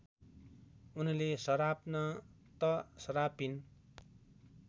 उनले सराप्न त सरापिन